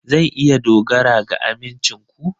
Zan iya dogara ga amincin ku?